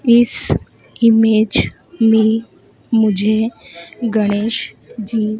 इस इमेज में मुझे गणेश जी--